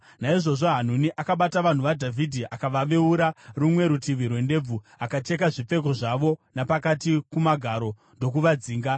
Naizvozvo Hanuni akabata vanhu vaDhavhidhi, akavaveura rumwe rutivi rwendebvu, akacheka zvipfeko zvavo napakati kumagaro, ndokuvadzinga.